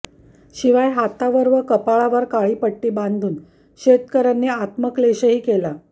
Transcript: शिवाय हातावर व कपाळावर काळी पट्टी बांधून शेतकऱ्यांनी आत्मक्लेशही केला